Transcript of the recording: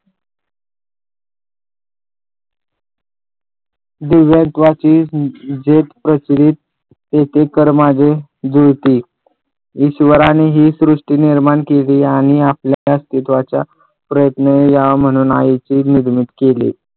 दिव्यत्वाची ज्योत प्रसरीत येथे कर माझे जुळते ईश्वराने ही सृष्टी निर्माण केली यांनी आपल्या त्या अस्तिवाची प्रयत्न यावे म्हणून आईचे लग्न केले.